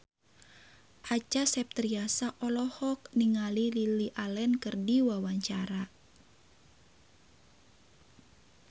Acha Septriasa olohok ningali Lily Allen keur diwawancara